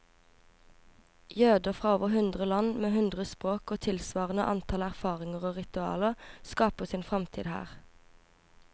Jøder fra over hundre land, med hundre språk og tilsvarende antall erfaringer og ritualer, skaper sin fremtid her.